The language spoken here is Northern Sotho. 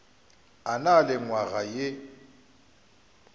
a na le nywaga ye